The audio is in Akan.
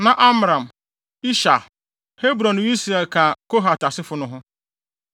Na Amram, Ishar, Hebron ne Usiel ka Kohat asefo no ho.